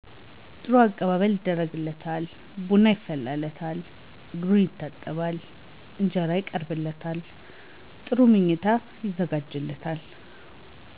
ጥሩ አቀባበል ይደረግለታል ቡና ይፈላለታል እግሩ ይታጠባል እንጀራ ይቀርብለታል ጥሩ ምኚታ ይዘጋጅለታል